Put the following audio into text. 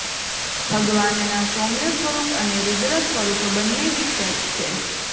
ભગવાનના સૌમ્ય સ્વરૂપ અને રૂદ્ર સ્વરૂપ બંને વિખ્યાત છે